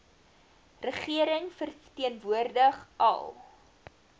regering verteenwoordig al